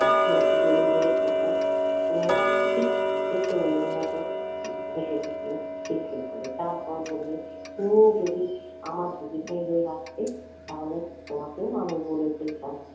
দুহাতে জড়িয়ে ধরে খুকু ঠিক ছোট্ট মেয়ের মত মুখ হেসে উঠলো খিল খিল করে। তারপর বললে তুমি যদি আমার দিদিভাই হয়ে আসতে তাহলে তোমাকেও আমি বলে ফেলতাম